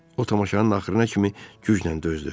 O tamaşanın axırına kimi güclə dözdü.